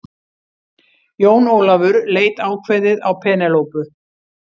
Jón Ólafur leit ákveðið á Penélope.